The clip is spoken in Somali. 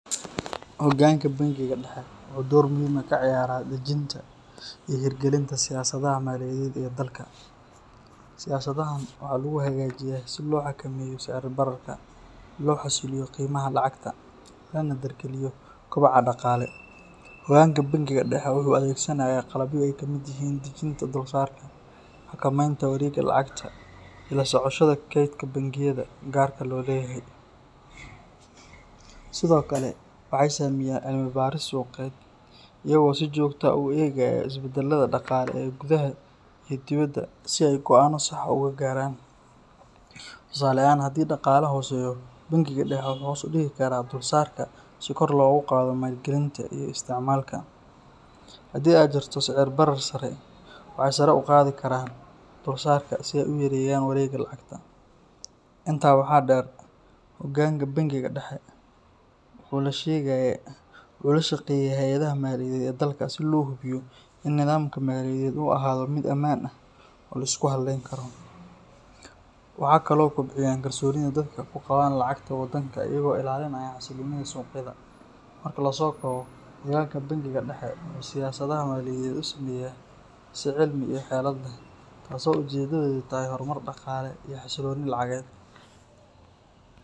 Hoggaanka bangiga dhexe wuxuu door muhiim ah ka ciyaaraa dejinta iyo hirgelinta siyaasadaha maaliyadeed ee dalka. Siyaasadahan waxaa lagu hagaajiyaa si loo xakameeyo sicir-bararka, loo xasiliyo qiimaha lacagta, lana dardargeliyo koboca dhaqaale. Hoggaanka bangiga dhexe wuxuu adeegsanayaa qalabyo ay ka mid yihiin dejinta dulsaarka, xakameynta wareegga lacagta iyo la socoshada kaydka bangiyada gaarka loo leeyahay. Sidoo kale, waxay sameeyaan cilmi baaris suuqeed, iyagoo si joogto ah u eegaya isbeddelada dhaqaale ee gudaha iyo dibadda, si ay go'aano sax ah ugu gaaraan. Tusaale ahaan, haddii dhaqaale hooseeyo, bangiga dhexe wuxuu hoos u dhigi karaa dulsaarka si kor loogu qaado maalgelinta iyo isticmaalka. Haddii ay jirto sicir barar sare, waxay sare u qaadi karaan dulsaarka si ay u yareeyaan wareegga lacagta. Intaa waxaa dheer, hoggaanka bangiga dhexe wuxuu la shaqeeyaa hay’adaha maaliyadeed ee dalka si loo hubiyo in nidaamka maaliyadeed uu ahaado mid ammaan ah oo la isku halleyn karo. Waxa kale oo ay kobciyaan kalsoonida dadka ku qabaan lacagta waddanka iyagoo ilaalinaya xasilloonida suuqyada. Marka la soo koobo, hoggaanka bangiga dhexe wuxuu siyaasadaha maaliyadeed u sameeyaa si cilmi iyo xeelad leh, taas oo ujeedadeedu tahay horumar dhaqaale iyo xasillooni lacageed.